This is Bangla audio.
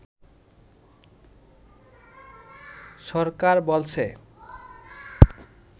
সরকার বলেছে